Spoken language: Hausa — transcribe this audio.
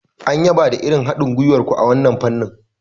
An yaba da irin haɗin gwiwar ku a wannan fannin.